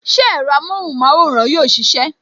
Ṣé ẹ̀rọ amóhùn maworan yóò sisẹ?